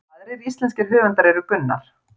Aðrir íslenskir höfundar eru Gunnar